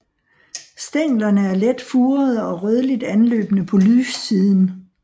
Stænglerne er let furede og rødligt anløbne på lyssiden